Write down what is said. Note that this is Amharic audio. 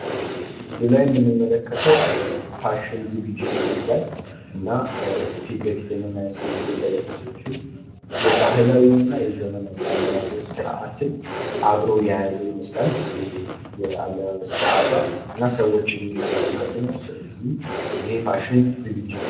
ምስሉ ላም የምንመለከተው የፋሽን ዝግጅት ይመስላል። እና ፊት ለፊት የምናያት ሴትዮ እንደለበሰችው የባህላዊና የዘመናዊ አለባበስ ስርአትን አብሮ የያዘ ይመስላል የአለባበስ ስርአቷ እና ሰዎችም እየተመለከቱ ነው ስለዚህ ይሄ የፋሽን ዝግጅት ነው።